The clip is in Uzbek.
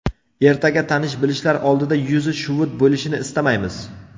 Ertaga tanish-bilishlar oldida yuzi shuvut bo‘lishini istamaymiz.